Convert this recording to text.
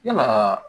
Yalaa